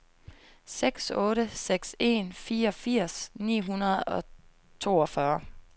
seks otte seks en fireogfirs ni hundrede og toogfyrre